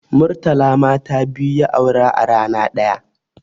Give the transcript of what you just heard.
Murtala mata biyu ya aura a rana ɗaya